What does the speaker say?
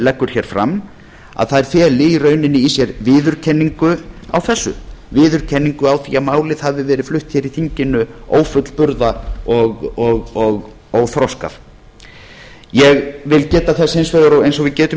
leggur hér fram feli í raun í sér viðurkenningu á þessu viðurkenningu á því að málið hafi verið flutt hér í þinginu ófullburða og óþroskað ég vil geta þess hins vegar eins og við getum